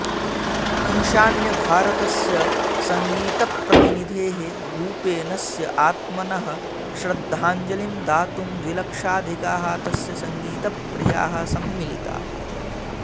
ईशान्यभारतस्य सङ्गीतप्रतिनिधे भुपेनस्य आत्मनः श्रन्धाजलिं दातुं द्विलक्षाधिकाः तस्य सङ्गीतप्रियाः सम्मिलिताः